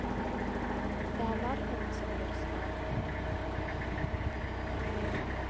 Det er larvene som gjør skade.